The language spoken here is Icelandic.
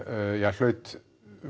hlaut